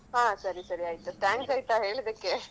ಹಾ ಸರಿ ಸರಿ ಆಯ್ತು thanks ಆಯ್ತಾ ಹೇಳಿದಕ್ಕೆ